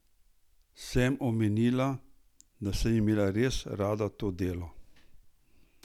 Sem omenila, da sem imela res rada to delo?